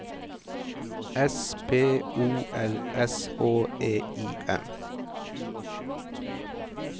S P O R S H E I M